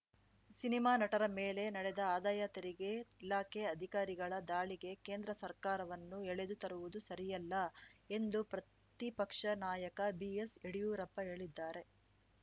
cinema ನಟರ ಮೇಲೆ ನಡೆದ ಆದಾಯ ತೆರಿಗೆ ಇಲಾಖೆ ಅಧಿಕಾರಿಗಳ ದಾಳಿಗೆ ಕೇಂದ್ರ ಸರ್ಕಾರವನ್ನು ಎಳೆದು ತರುವುದು ಸರಿಯಲ್ಲ ಎಂದು ಪ್ರತಿಪಕ್ಷ ನಾಯಕ ಬಿಎಸ್‌ಯಡಿಯೂರಪ್ಪ ಹೇಳಿದ್ದಾರೆ